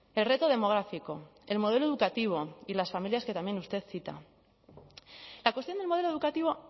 el reto demográfico el modelo educativo y las familias que también usted cita la cuestión del modelo educativo